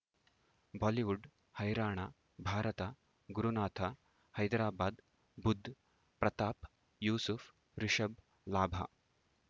Bollywood ಹೈರಾಣ ಭಾರತ ಗುರುನಾಥ ಹೈದರಾಬಾದ್ ಬುಧ್ ಪ್ರತಾಪ್ ಯೂಸುಫ್ ರಿಷಬ್ ಲಾಭ